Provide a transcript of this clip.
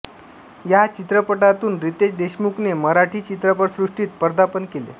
या चित्रपटातून रितेश देशमुखने मराठी चित्रपटसृष्टीत पदार्पण केले